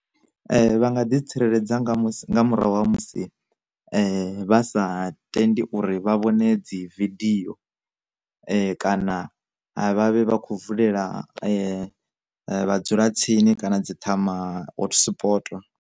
Vha nga ḓi tsireledza nga murahu ha musi vha sa tendi uri vha vhone dzi vidio, kana vha vhavhe vhakho vulela vha dzulatsini kana dzi ṱhama hot spoto.